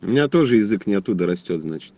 у меня тоже язык не оттуда растёт значит